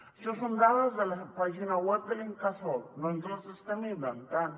això són dades de la pàgina web de l’incasòl no ens les estem inventant